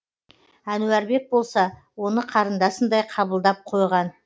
әнуарбек болса оны қарындасындай қабылдап қойған